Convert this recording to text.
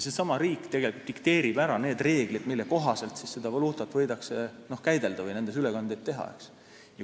Seesama riik dikteerib ka need reeglid, mille kohaselt võidakse seda valuutat käidelda või selles ülekandeid teha.